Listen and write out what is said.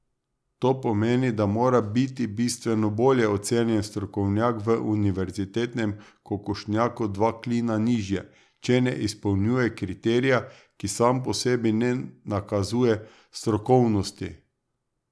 To pomeni, da mora biti bistveno bolje ocenjen strokovnjak v univerzitetnem kokošnjaku dva klina nižje, če ne izpolnjuje kriterija, ki sam po sebi ne nakazuje strokovnosti.